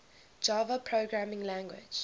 java programming language